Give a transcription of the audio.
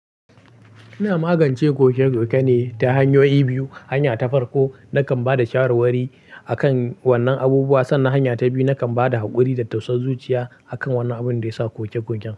Ina magance ƙoke-ƙoke ne ta hanyoyi biyu. Hanya ta farko nakan ba da shawarwari a kan wannan abubuwa, sannan hanya ta biyu nakan ba da haƙuri da tausan zuciya a kan wannan abun da ya sa koke-koken.